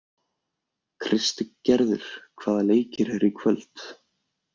Kristgerður, hvaða leikir eru í kvöld?